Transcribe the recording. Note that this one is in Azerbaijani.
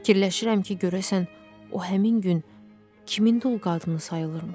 Fikirləşirəm ki, görəsən o həmin gün kimin dul qadını sayılırmış?